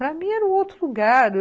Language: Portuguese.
Para mim era um outro lugar.